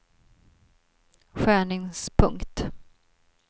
skärningspunkt